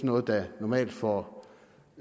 noget der normalt får